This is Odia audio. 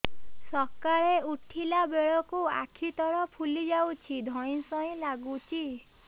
ସକାଳେ ଉଠିଲା ବେଳକୁ ଆଖି ତଳ ଫୁଲି ଯାଉଛି ଧଇଁ ସଇଁ ଲାଗୁଚି